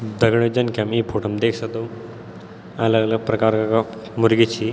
दगड़ियों जन की हम यी फोटो मा देख सक्दो अलग-अलग प्रकार का मुर्गी छी।